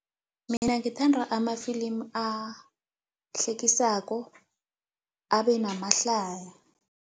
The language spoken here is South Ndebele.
Mina ngithanda amafilimu ahlekisako, abenamahlaya.